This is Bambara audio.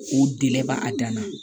O dɛ b'a dan na